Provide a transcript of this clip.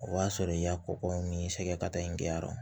O y'a sɔrɔ i ka kɔkɔ ni sɛgɛ ka taa in kɛ yan yɔrɔ